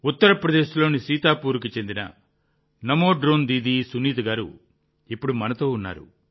ఉత్తరప్రదేశ్లోని సీతాపూర్కి చెందిన నమో డ్రోన్ దీదీ సునీత గారు ఇప్పుడు మనతో ఉన్నారు